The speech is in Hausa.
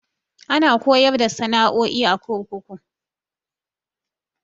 Ana koyar da sana'o'i a kurkuku.